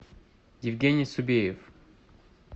евгений субеев